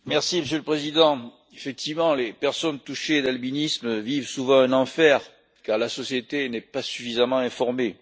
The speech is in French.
Monsieur le Président, effectivement, les personnes souffrant d'albinisme vivent souvent un enfer car la société n'est pas suffisamment informée.